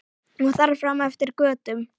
Og þar fram eftir götum.